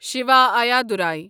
Shiva Ayyadurai